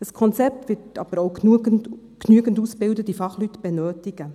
Ein Konzept wird aber auch genügend ausgebildete Fachleute benötigen.